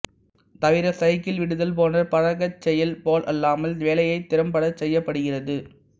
தவிர சைக்கிள் விடுதல் போன்ற பழக்கச் செயல் போலல்லாமல் வேலையைத் திறம்படச் செய்யப்படுகிறது